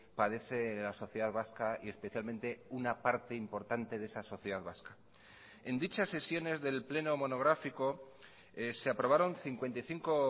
padece la sociedad vasca y especialmente una parte importante de esa sociedad vasca en dichas sesiones del pleno monográfico se aprobaron cincuenta y cinco